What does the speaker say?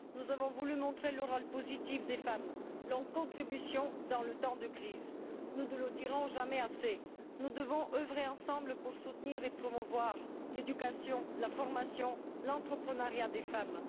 Nous avons voulu montrer le rôle positif des femmes, leur contribution dans les temps de crise. Nous ne le dirons jamais assez, nous devons œuvrer ensemble pour soutenir et promouvoir l'éducation, la formation, l'entreprenariat chez les femmes.